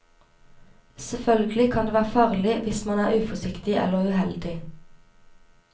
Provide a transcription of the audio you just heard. Selvfølgelig kan det være farlig hvis man er uforsiktig eller uheldig.